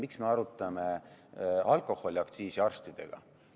Miks me arutame alkoholiaktsiisi arstidega?